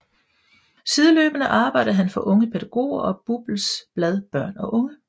Sideløbende arbejdede han for Unge Pædagoger og BUPLs blad Børn og Unge